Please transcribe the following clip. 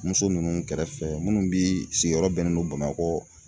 Muso ninnu kɛrɛfɛ minnu bi sigiyɔrɔ bɛnnen don BAMAKƆ.